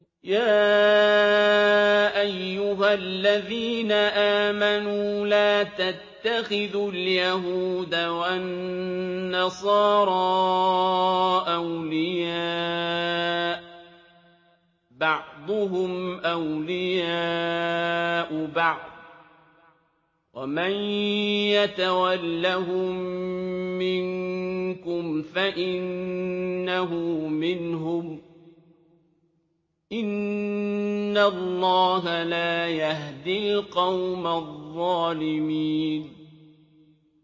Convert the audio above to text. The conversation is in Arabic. ۞ يَا أَيُّهَا الَّذِينَ آمَنُوا لَا تَتَّخِذُوا الْيَهُودَ وَالنَّصَارَىٰ أَوْلِيَاءَ ۘ بَعْضُهُمْ أَوْلِيَاءُ بَعْضٍ ۚ وَمَن يَتَوَلَّهُم مِّنكُمْ فَإِنَّهُ مِنْهُمْ ۗ إِنَّ اللَّهَ لَا يَهْدِي الْقَوْمَ الظَّالِمِينَ